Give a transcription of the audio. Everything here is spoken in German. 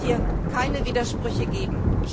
Es darf hier keine Widersprüche geben.